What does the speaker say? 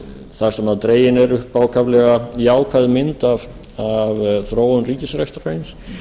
þar sem dregin er upp ákaflega jákvæð mynd af þróun ríkisrekstrarins